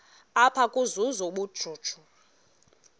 apha ukuzuza ubujuju